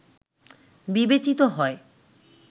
বিবেচিত হয়